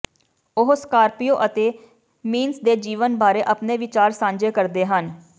ਉਹ ਸਕਾਰਪੀਓ ਅਤੇ ਮੀੰਸ ਦੇ ਜੀਵਨ ਬਾਰੇ ਆਪਣੇ ਵਿਚਾਰ ਸਾਂਝੇ ਕਰਦੇ ਹਨ